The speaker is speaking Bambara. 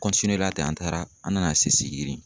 la ten, an taara an nana se Sigiri.